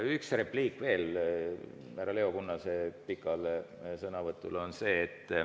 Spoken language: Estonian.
Üks repliik veel härra Leo Kunnase pika sõnavõtu peale.